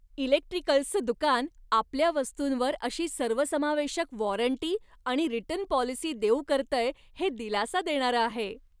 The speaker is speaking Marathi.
इलेक्ट्रिकल्सचं दुकान आपल्या वस्तूंवर अशी सर्वसमावेशक वॉरंटी आणि रिटर्न पॉलिसी देऊ करतय हे दिलासा देणारं आहे.